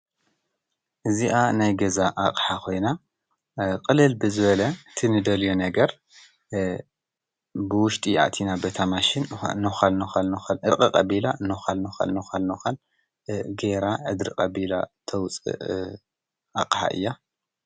እዚኣ ናይ ገዛ ኣቕሓ ኮይና ቅልል ብዝበለ እቲ ንደልዮ ነገር ብውሽጢ ኣእቲና በታ ማሽን ነኳል ነኳል ኣሕቕቕ ኣቢላ ነኳል ነኳል ጌይራ ኣድርቅ ኣቢላ ተውፅእ ኣቕሓ እያ፡፡